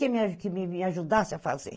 Tinha que me ajudasse a fazer.